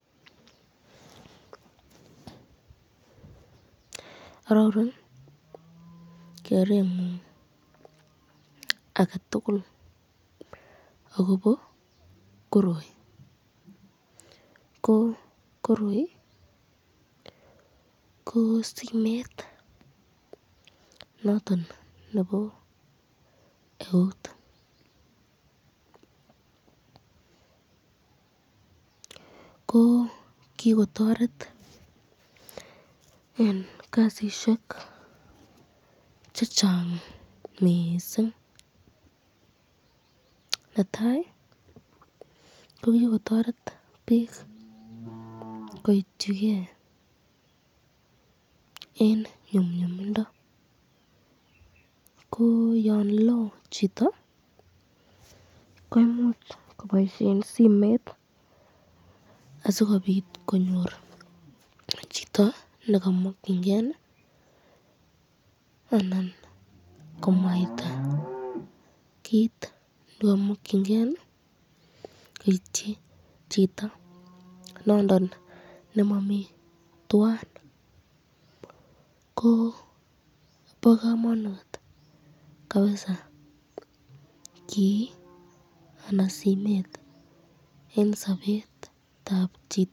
Ororun kerengun aketukul sgobo koroi, ko koroi ko dimet noton nebo eut, ko kikotoret eng kasisyek chechang mising, netai ko kikotoret bik koityiken eng nyumnyumindo ko yon lo chito koimuch koboisyen simet sikobit konyor chito nemakyinken anan komwaita kit nekamemankyiniken koityi chito nondon nemamiten twan ,ko bo kamanut kabisa kii anan simet eng sabetab chito.